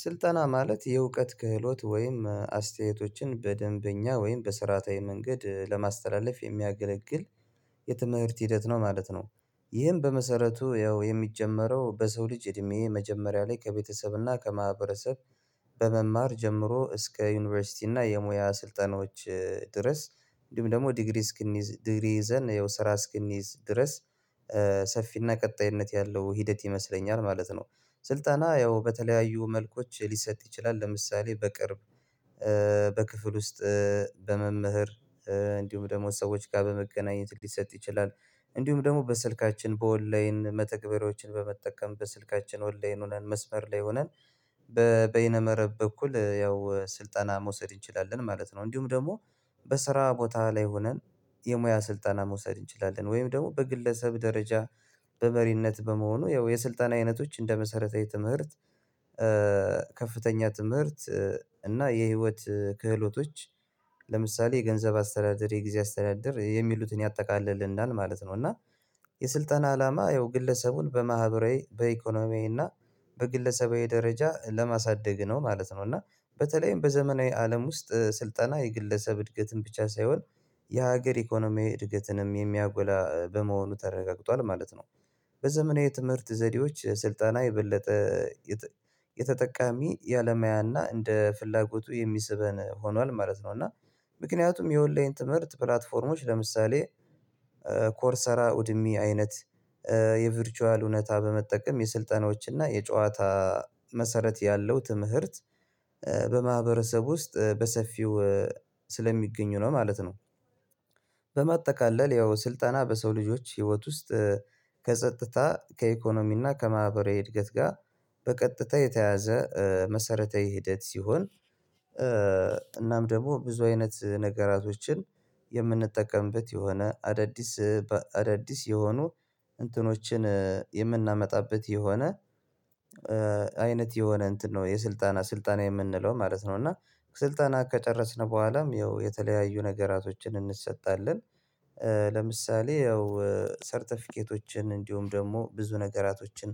ስልጠና ማለት የእውቀት ክህሎት ወይም አስተያየቶችን በደንበኛ ወይም በስርዓታዊ መንገድ ለማስተላለፍ የሚያገለግል የትምህርት ሂደት ነው ማለት ነው። ይህም በመሰረቱ ያው የሚጀመረው በሰው ልጅ እድሜ የመጀመሪያ ላይ ከቤተሰብና ከማህበረሰብ በመማር ጀምሮ እስከ ዩኒቨርሲቲ እና የሙያ ስልጠናዎች ድረስ እንዲሁም ደግሞ ዲግሪ እስክንይዝ ዲግሪ ይዘን ያው ስራ እስክንይዝ ድረስ ሰፊና ቀጣይነት ያለው ሂደት ይመስለኛል ማለት ነው። ስልጠና ያው በተለያዩ መልኮች ሊሰጥ ይችላል። ለምሳሌ በቅርብ በክፍል ውስጥ በመምህር እንዲሁም ደሞ ሰዎች ጋር በመገናኘት ሊሰጥ ይችላል። እንዲሁም ደሞ በስልካችን በኦንላይን መተግበሪያዎችን በመጠቀም በስልካችን ኦንላይን ሆነን መስመር ላይ ሆነን በበይነ መረብ በኩል ያው ስልጠና መውሰድ እንችላለን ማለት ነው። እንዲሁም ደሞ በስራ ቦታ ላይ ሆነን የሙያ ስልጠና መውሰድ እንችላለን ወይም ደሞ በግለሰብ ደረጃ በመሪነት በመሆኑ ያው የስልጣን አይነቶች እንደ መሰረታዊ ትምህርት ከፍተኛ ትምህርት እና የህይወት ክህሎቶች ለምሳሌ ገንዘብ አስተዳደር የጊዜ አስተዳደር የሚሉትን ያጠቃልልናል ማለት ነው። እና የስልጠና አላማ ያው ግለሰቡን በማህበራዊ በኢኮኖሚያዊና በግለሰባዊ ደረጃ ለማሳደግ ነው ማለት ነው። እና በተለይም በዘመናዊ አለም ውስጥ ስልጠና የግለሰብ እድገትን ብቻ ሳይሆን የሀገር ኢኮኖሚ እድገትንም የሚያጎላ በመሆኑ ተረጋግጧል ማለት ነው። በዘመናዊ ትምህርት ዘዴዎች ስልጠና የበለጠ የተ የተጠቃሚ የአለማያና እንደ ፍላጎቱ የሚስበን ሆኗል ማለት ነው። እና ምክንያቱም የኦንላይን ትምህርት ፕላትፎርሞች ለምሳሌ ኮርሰራ እውድሜ አይነት የቨርቹዋል እውነታ በመጠቀም የስልጠናዎችና እና የጨዋታ መሰረት ያለው ትምህርት በማህበረሰቡ ውስጥ በሰፊው ስለሚገኙ ነው ማለት ነው። በማጠቃለል ያው ስልጠና በሰው ልጆች ህይወት ውስጥ ከጸጥታ ከኢኮኖሚና ከማህበራዊ እድገት ጋ በቀጥታ የተያዘ መሰረተዊ ሂደት ሲሆን። እናም ደግሞ ብዙ አይነት ነገራቶችን የምንጠቀምበት የሆነ አዳዲስ በአዳዲስ የሆኑ እንትኖችን የምናመጣበት የሆነ አይነት የሆነ እንትን ነው የስልጣና ስልጣን የምንለው ማለት ነው። እና ስልጠና ከጨረስን በኋላም ያው የተለያዩ ነገራቶችን እንሰጣለን። ለምሳሌ ያው ሰርተፊኬቶችን እንዲሁም ደግሞ ብዙ ነገራቶችን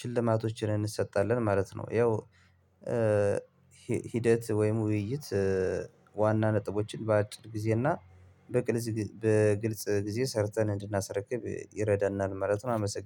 ሽልማቶችን እንሰጣለን ማለት ነው። ያው ሂደት ወይም ውይይት ዋና ነጥቦችን በአጭር ጊዜ እና በግል በግልጽ ጊዜ ሰርተን እንድናስረክብ ይረዳናል ማለት ነው። አመሰግናለሁ